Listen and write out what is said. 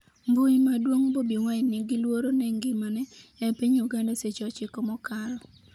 Mbui maduong' Bobi Wine 'ni gi luoro ne ngimane' e piny Uganda seche 9 mokalo